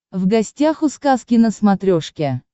в гостях у сказки на смотрешке